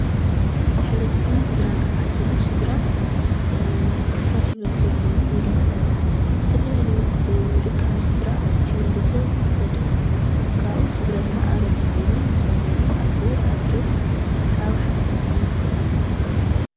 ሕብርተሰብን ስድራን ክባሃል ከሎ ስድራ ክፋል ሕብርተሰብ ኮይኖሞወይ ዶሞ ዝተፈላለዩ እካብ ስድራ ሕብርተሰብ ይፈጥሩ። ካብኡ ስድራ ድማ ኣባላት ኣለዉዎ። ኒሳቶሞ አዉን ኣቦ፣ ኣዶ፣ ሓዉ፣ ሓፍት ክኾኑ ይኽእሉ።